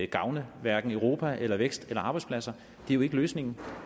gavne hverken europa eller vækst eller arbejdspladser det er jo ikke løsningen